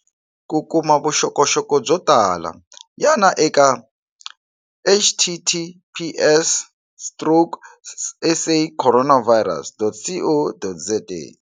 Ku kuma vuxokoxoko byo tala, yana eka https- stroke sacorona virus.co.za.